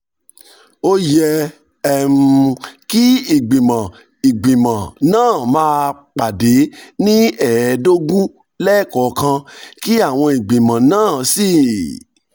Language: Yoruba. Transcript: ó yẹ um kí ìgbìmọ̀ ìgbìmọ̀ náà máa um pàdé ní ẹ̀ẹ̀ẹ́dógún um lẹ́ẹ̀kọ̀ọ̀kan kí àwọn ìgbìmọ̀ náà sì